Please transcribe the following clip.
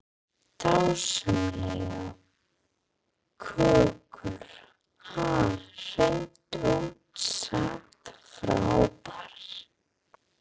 Dásamlegur kokkur, ha, hreint út sagt frábær.